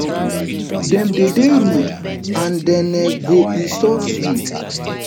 dem dey dey rude and dem um go insult you